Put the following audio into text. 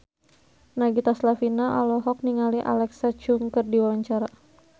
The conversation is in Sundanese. Nagita Slavina olohok ningali Alexa Chung keur diwawancara